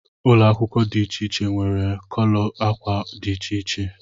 Ụlọ akwụkwọ dị iche iche nwere kọlọ ákwà dị iche iche